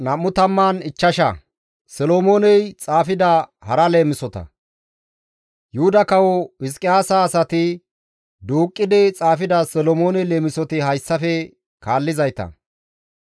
Yuhuda Kawo Hizqiyaasa asati duuqqidi xaafida Solomoone leemisoti hayssafe kaallizayta.